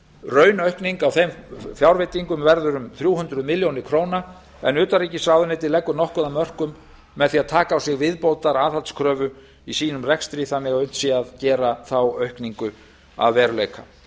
raunaukning á þeim fjárveitingum verður um þrjú hundruð milljóna króna en utanríkisráðuneytið leggur nokkuð af mörkum með því að taka á sig viðbótaraðhaldskröfu í sínum rekstri þannig að unnt sé að gera þá aukningu að veruleika